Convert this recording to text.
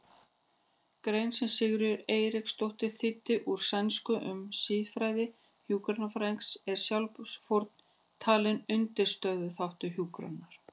grein sem Sigríður Eiríksdóttir þýddi úr sænsku um siðfræði hjúkrunarstarfsins er sjálfsfórnin talin undirstöðuþáttur hjúkrunar.